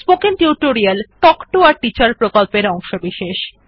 spoken tutorial talk to a teacher প্রকল্পের অংশবিশেষ